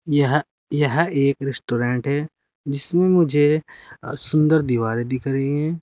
यह यह एक रेस्टोरेंट है जिसमें मुझे सुंदर दीवारें दिख रही हैं।